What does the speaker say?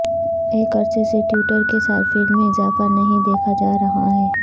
ایک عرصے سے ٹوئٹر کے صارفین میں اضافہ نہیں دیکھا جا رہا ہے